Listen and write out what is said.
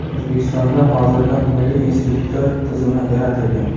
O‘zbekistonda hozirda milliy institutlar tizimi yaratilgan.